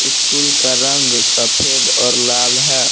School का रंग सफेद और लाल है।